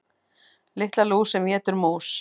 Lilla lús sem étur mús.